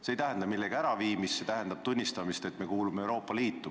See ei tähenda millegi äraviimist, see tähendab tunnistamist, et me kuulume Euroopa Liitu.